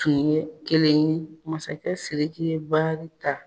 Ni ye kelen ye, masakɛ Siriki ye baari ta.